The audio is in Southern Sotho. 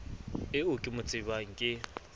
eo ke mo tsebang ke